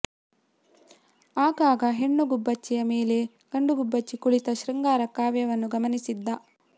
ಆಗಾಗ ಹೆಣ್ಣು ಗುಬ್ಬಚ್ಚಿಯ ಮೇಲೆ ಗಂಡು ಗುಬ್ಬಚ್ಚಿ ಕುಳಿತ ಶೃಂಗಾರ ಕಾವ್ಯವನ್ನು ಗಮನಿಸಿದ್ದ